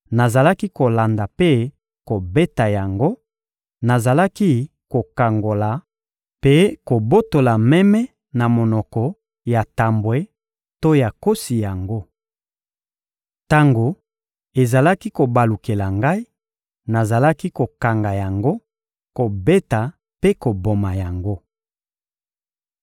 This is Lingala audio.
nazalaki kolanda mpe kobeta yango, nazalaki kokangola mpe kobotola meme na monoko ya tambwe to ya nkosi yango. Tango ezalaki kobalukela ngai, nazalaki kokanga yango, kobeta mpe koboma yango.